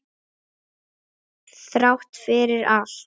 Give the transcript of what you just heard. Þrátt fyrir allt.